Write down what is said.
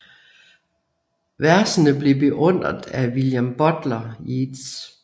Versene blev beundret af William Butler Yeats